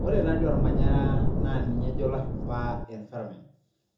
Ore taa dei olmanyara naa ninye ejo lashumba environment,